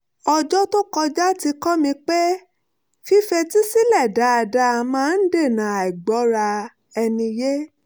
ọjọ́ tó kọjá ti kọ́ mi pé fífetí sílẹ̀ dáadáa máa ń dènà àìgbọ́ra - ẹni - yé